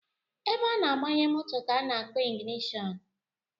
Ebe a na-agbanye moto ka a na-akpọ ịgịnịshọnụ